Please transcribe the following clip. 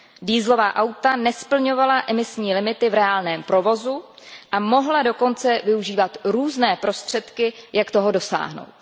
Dieselová auta nesplňovala emisní limity v reálném provozu a mohla dokonce využívat různé prostředky, jak toho dosáhnout.